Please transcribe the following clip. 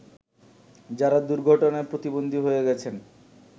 যারা দুর্ঘটনায় প্রতিবন্ধী হয়ে গেছেন